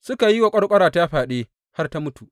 Suka yi wa ƙwarƙwarata fyaɗe, har ta mutu.